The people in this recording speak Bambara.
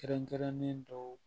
Kɛrɛnkɛrɛnnen dɔw